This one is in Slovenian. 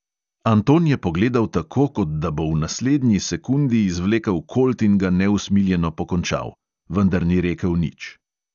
Anton je pogledal tako, kot da bo v naslednji sekundi izvlekel kolt in ga neusmiljeno pokončal, vendar ni rekel nič.